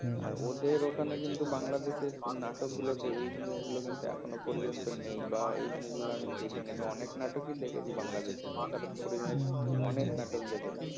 আর ওদের ওখানে কিন্তু বাংলাদেশে নাটকগুলোতে এই জিনিসগুলো এখনও পর্যন্ত নেই বা এই জিনিস গুলো দেখিনি আমি অনেক নাটকই দেখেছি বাংলাদেশের মোশারফ করিমের অনেক নাটক দেখেছি